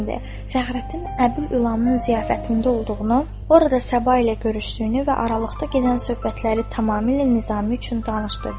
Fəxrəddin Əbülülanın ziyafətində olduğunu, orada Səba ilə görüşdüyünü və aralıqda gedən söhbətləri tamamilə Nizami üçün danışdı.